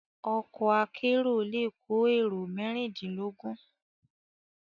Òkò àkèéró lé kó éró mèrindinlógùn